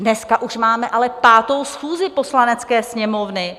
Dneska už máme ale 5. schůzi Poslanecké sněmovny.